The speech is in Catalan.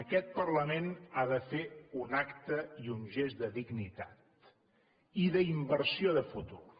aquest parlament ha de fer un acte i un gest de dignitat i d’inversió de futur